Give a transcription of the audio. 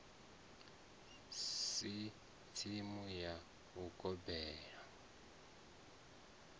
si tsimu ya u gobela